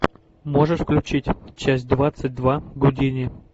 можешь включить часть двадцать два гудини